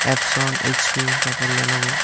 Epson HP তারপর Lenovo.